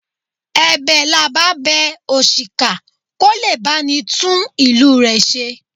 Ẹ̀bẹ̀ là bá bẹ òṣìkà kó lè bá ni tún ìlú rẹ̀ ṣe.